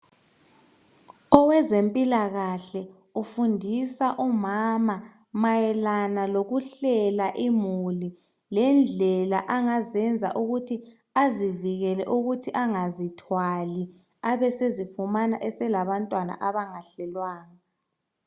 Owezemphilakahle ufunda umama mayelana lokuhlela izimuli, lendlela angaziyenza ukuthi azivikela ukuthi angazithwali abesezifumana eselabantwa abangahlelwanga.